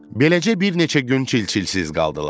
Beləcə bir neçə gün çil-çilsiz qaldılar.